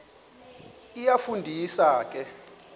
iyafu ndisa ke